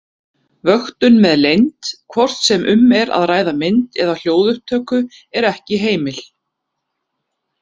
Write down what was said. Vöktun með leynd, hvort sem um er að ræða mynd- eða hljóðupptöku, er ekki heimil.